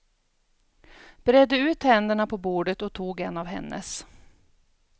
Bredde ut händerna på bordet och tog en av hennes.